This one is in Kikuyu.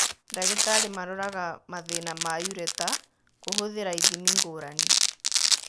Ndagĩtarĩ maroraga mathĩĩna ma ureter kũhũthĩra ithimi ngũrani.